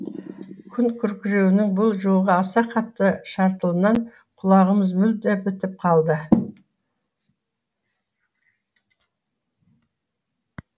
күн күркіреуінің бұл жолғы аса қатты шартылынан құлағымыз мүлде бітіп қалды